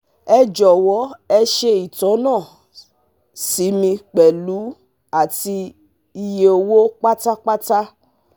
Ẹ jọ̀wọ́ e ṣe itona si mi pẹ̀lu àti iye owó pátápátá